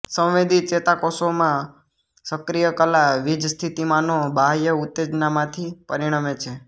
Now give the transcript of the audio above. સંવેદી ચેતાકોષોમાં સક્રિય કલા વીજસ્થિતિમાનો બાહ્ય ઉત્તેજનામાંથી પરીણમે છે